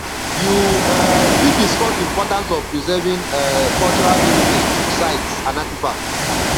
you um fit discuss di importance of preserving um cultural heritage sites and artifacts